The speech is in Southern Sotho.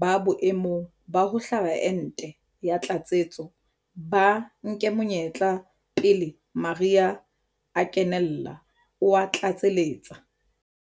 ba boemong ba ho hlaba ente ya tlatsetso ba nke monyetla pele mariha a kenella, o a tlatseletsa.